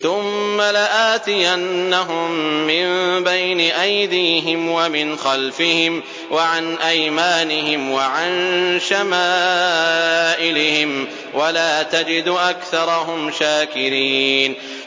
ثُمَّ لَآتِيَنَّهُم مِّن بَيْنِ أَيْدِيهِمْ وَمِنْ خَلْفِهِمْ وَعَنْ أَيْمَانِهِمْ وَعَن شَمَائِلِهِمْ ۖ وَلَا تَجِدُ أَكْثَرَهُمْ شَاكِرِينَ